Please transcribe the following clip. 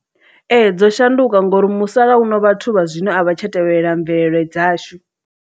Ee, dzo shanduka ngori musalauno vhathu vha zwino a vha tsha tevhelela mvelele dzashu.